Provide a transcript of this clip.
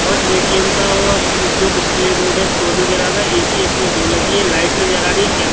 और ए_टी_एम व जो डिस्प्ले बोर्ड है शो नजर आ रहा है ए_सी इसमें दो लगी है लाइट नजर आरी है कैम--